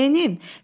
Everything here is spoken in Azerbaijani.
Neynəm?